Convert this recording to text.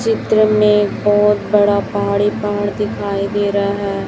चित्र में बहुत बड़ा पहाड़ ही पहाड़ दिखाई दे रहा है।